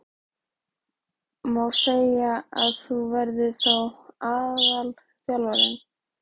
Má segja að þú verðir þá aðalþjálfari?